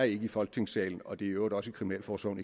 ikke i folketingssalen og det øvrigt også i kriminalforsorgen